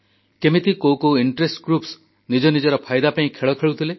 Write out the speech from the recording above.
କେମିତି କେଉଁ କେଉଁ ସ୍ୱାର୍ଥନ୍ୱେଷୀ ଗୋଷ୍ଠୀ ନିଜ ନିଜର ଫାଇଦା ପାଇଁ ଖେଳ ଖେଳୁଥିଲେ